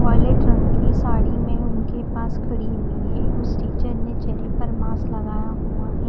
Violet रंग की साड़ी में उनके पास खड़ी हुई हैं उस टीचर ने चेहरे पर मास्क लगाया हुआ है।